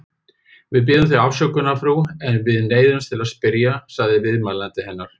Við biðjum þig afsökunar, frú, en við neyðumst til að spyrja, sagði viðmælandi hennar.